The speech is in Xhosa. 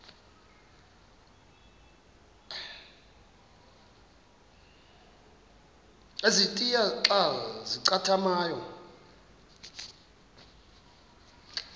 ezintia xa zincathamayo